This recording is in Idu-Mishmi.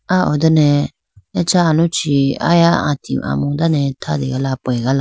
ah ho done acha aluchi aya ati amu dane thrategala pegala.